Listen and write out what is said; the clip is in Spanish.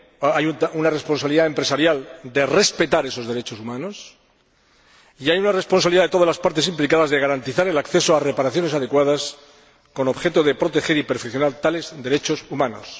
Hay una responsabilidad empresarial de respetar esos derechos humanos y hay una responsabilidad de todas las partes implicadas de garantizar el acceso a reparaciones adecuadas, con objeto de proteger y perfeccionar tales derechos humanos.